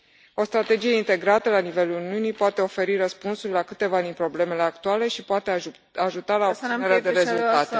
O strategie integrată la nivelul Uniunii poate oferi răspunsuri la câteva din problemele actuale și poate ajuta la obținerea de rezultate.